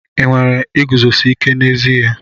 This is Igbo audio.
Ị nwere iguzosi ike n'ezi ihe?